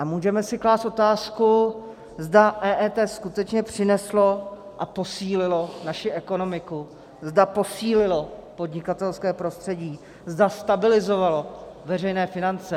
A můžeme si klást otázku, zda EET skutečně přineslo a posílilo naši ekonomiku, zda posílilo podnikatelské prostředí, zda stabilizovalo veřejné finance.